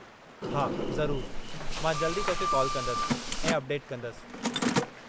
हा, ज़रूर, मां जल्द ई तोखे कॉल कंदसि ऐं अपडेट कंदसि।